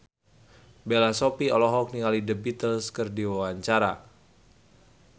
Bella Shofie olohok ningali The Beatles keur diwawancara